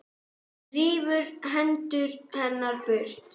Rífur hendur hennar burt.